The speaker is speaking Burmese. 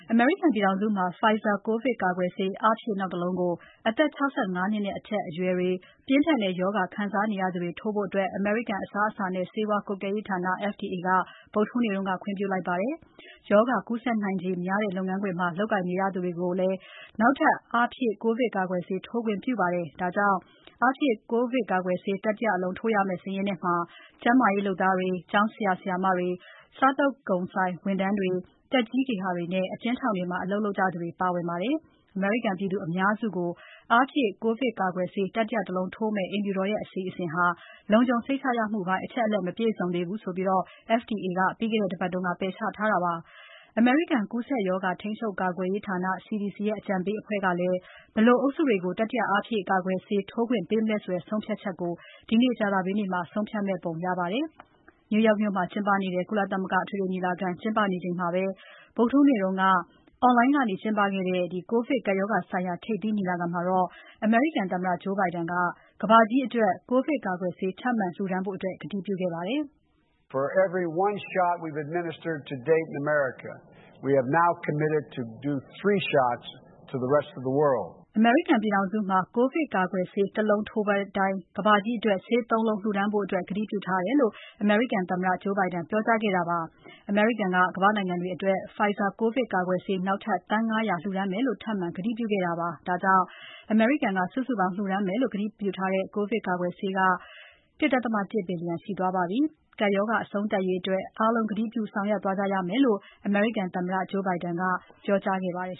အမေရိကန်ပြည်ထောင်စုမှာ Pfizer ကိုဗစ်ကာကွယ်ဆေး အားဖြည့် နောက်တလုံးကို အသက် ၆၅ နှစ်နဲ့ အထက် အရွယ်တွေနဲ့ ပြင်းထန်တဲ့ရောဂါ ခံစားနေရသူတွေထိုးဖို့ အမေရိကန် အစားအစာနဲ့ ဆေးဝါးကွပ်ကဲရေးဌာန FDA က ဗုဒ္ဓဟူးနေ့မှာ တရားဝင်ဆုံးဖြတ်လိုက်ပါတယ်။ ရောဂါကူးစက်နိုင်ခြေများတဲ့ လုပ်ငန်းခွင်မှာ လုပ်ကိုင်နေရသူတွေကိုလည်း နောက်ထပ် အားဖြည့် ကိုဗစ်ကာကွယ်ဆေး ထိုးခွင့်ပြုခဲ့ပါတယ်။ ဒါကြောင့် အားဖြည့် ကိုဗစ်ကွယ်ဆေး ထိုးရမယ့်စာရင်းထဲမှာ ကျန်းမာရေးလုပ်သားတွေ၊ ကျောင်းဆရာ ဆရာမတွေ၊ စားသောက်ဆိုင်ဝန်ထမ်းတွေ၊ သက်ကြီးဂေဟာတွေနဲ့ အကျဉ်းထောင်တွေမှာ အလုပ်လုပ်ကြသူတွေ ပါဝင်ပါတယ်။ အမေရိကန်ပြည်သူအများစုကို အားဖြည့်ကိုဗစ်ကာကွယ်ဆေး တတိယတလုံးထိုးမယ့် အိမ်ဖြူတော်ရဲ့ အစီအစဉ်ဟာ လုံခြုံစိတ်ချရမှုပိုင်း အချက်အလက် မပြည့်စုံသေးဘူးဆိုပြီး FDA က ပြီးခဲ့တဲ့ ပတ်က ပယ်ချခဲ့ပါတယ်။ အမေရိကန် ကူးစက်ရောဂါ ထိန်းချုပ်ကာကွယ်ရေးဌာန CDC ရဲ့ အကြံပေးအဖွဲ့ကလည်း ဘယ်လိုအုပ်စုတွေကို တတိယ အားဖြည့်ကာကွယ်ဆေး ထိုးသင့် မသင့် ဆုံးဖြတ်ချက်ကို ဒီနေ့ ကြာသပတေးနေ့မှာ ဆုံးဖြတ်မယ့်ပုံရပါတယ်။ New York မြို့မှာ ကုလသမဂ္ဂအထွေထွေညီလာခံ ကျင်းပနေချိန်မှာပဲ ဗုဒ္ဓဟူးနေ့က အွန်လိုင်းကနေ ကျင်းပခဲ့တဲ့ ကိုဗစ်ကပ်ရောဂါဆိုင်ရာ ထိပ်သီးညီလာခံမှာတော့ အမေရိကန်သမ္မတ Joe Biden က ကမ္ဘာကြီးအတွက် ကိုဗစ်ကာကွယ်ဆေး ထပ်မံလှူဒါန်းဖို့ ကတိပြုခဲ့ပါတယ်။ "အမေရိကန်ပြည်ထောင်စုမှာ ကိုဗစ်ကာကွယ်ဆေး ၁ လုံးထိုးပေးတိုင်း ကမ္ဘာကြီးအတွက် ဆေး ၃ လုံးလှူဒါန်;ဖို့ ကတိပြုထားတယ်" လို့ သမ္မတ Biden ကပြောပါတယ်။ အမေရိကန်က ကမ္ဘာ့နိုင်ငံတွေအတွက် Pfizer ကိုဗစ်ကာကွယ်ဆေး နောက်ထပ် သန်း ၅၀၀ လှူဒါန်းမယ်လို့ ထပ်မံကတိပြုခဲ့တာပါ။ ဒါကြောင့် အမေရိကန်ကလှူဒါန်းမယ်လို့ ကတိပြုထားတဲ့ ကိုဗစ်ကာကွယ်ဆေး စုစုပေါင်း ၁.၁ ဘီလျံရှိသွားပါပြီ။ ကပ်ရောဂါအဆုံးသတ်ရေးအတွက် အားလုံး ကတိပြုဆောင်ရွက်သွားကြရမယ်လို့ အမေရိကန်သမ္မတ Biden က ပြောကြားခဲ့ပါတယ်